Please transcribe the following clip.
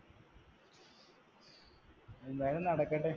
എന്തായാലും നടക്കട്ടെ